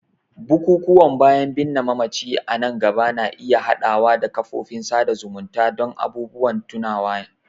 bukukuwan bayan binne mamaci a nan gaba na iya haɗawa da kafofin sada zumunta don abubuwan tunawa.